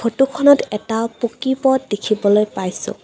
ফটোখনত এটা পকী পথ দেখিবলৈ পাইছোঁ।